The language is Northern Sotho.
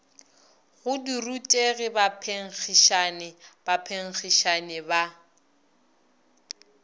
go dirutegi baphenkgišani baphenkgišani ba